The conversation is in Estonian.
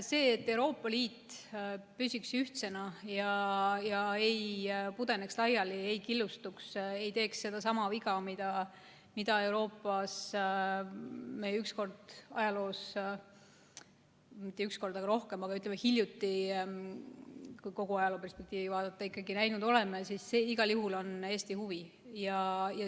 See, et Euroopa Liit püsiks ühtsena ega pudeneks laiali, ei killustuks ega teeks sedasama viga, mida Euroopas me üks kord – küll mitte üks kord, vaid rohkem, aga ütleme hiljuti, kui kogu ajalooperspektiivi vaadata – näinud oleme, siis see igal juhul on Eesti huvi.